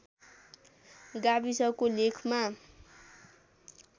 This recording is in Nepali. गाविसको लेखमा